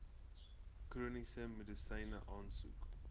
chroniese medisyne aansoek